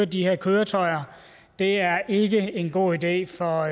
de her køretøjer er ikke en god idé for